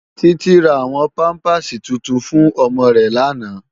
Titi rá áwòn pàmpásí túntún fún òmò rè làná